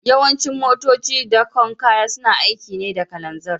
Yawancin motocin dakon kaya suna aiki ne da kananzir